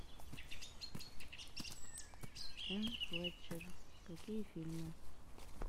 энн флетчер какие фильмы